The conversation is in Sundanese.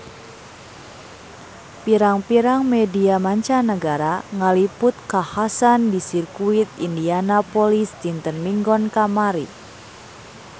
Pirang-pirang media mancanagara ngaliput kakhasan di Sirkuit Indianapolis dinten Minggon kamari